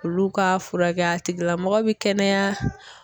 Olu ka furakɛ a tigilamɔgɔ bɛ kɛnɛya.